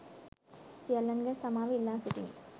සියල්ලන්ගෙන් සමාව ඉල්ලා සිටිමි